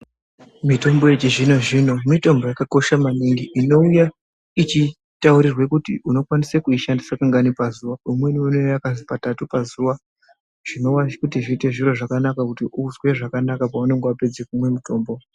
Mitombo yechizvino zvino mitombo yakakosha maningi inouya ichikutaurire kuti unokona kuishandisa kangani pazuwa Imweni inouya yakazi katatu pazuwa zvinova zviri zviro zvakanaka kuti uzwe zvakanaka paanenge wapedza kumwa mitombo.